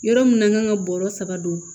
Yɔrɔ min kan ka bɔrɔ saba don